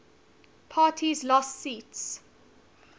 parties lost seats